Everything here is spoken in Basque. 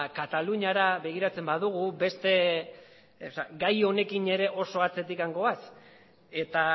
kataluniara begiratzen baldin badugu gai honekin ere oso atzetik goaz eta